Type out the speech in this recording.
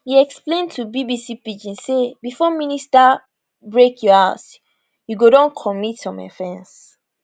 e explain to bbc pidgin say before minister break your house you go don commit some offence